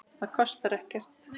Það kostar ekkert.